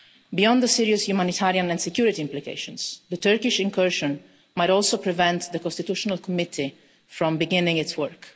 Beyond the serious humanitarian and security implications, the Turkish incursion might also prevent the constitutional committee from beginning its work.